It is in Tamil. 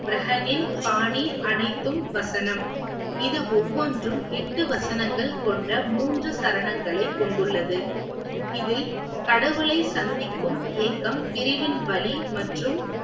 பாணி அனைத்தும் வசனம். இது ஒவ்வொன்றும் எட்டு வசனங்கள் கொண்ட மூன்று சரணங்களை கொண்டுள்ளது. இதில் கடவுளை சந்திக்கும் ஏக்கம் பிரிவின் வலி மற்றும்